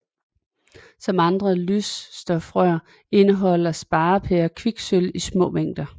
Som andre lysstofrør indeholder sparepærer kviksølv i små mængder